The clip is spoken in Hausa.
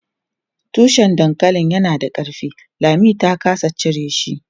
Tushen dankalin yana da ƙarfi, Lami ta ƙasa cire shi.